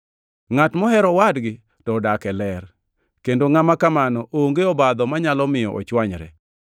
Ngʼat mohero owadgi to odak e ler, kendo ngʼama kamano onge obadho manyalo miyo ochwanyre.